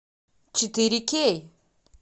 четыре кей